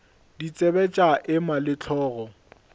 ditsebe tša ema le hlogo